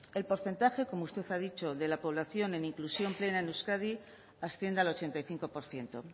el porcentaje como usted ha dicho de la población en inclusión plena en euskadi asciende al ochenta y cinco por ciento